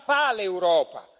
Cosa fa l'Europa.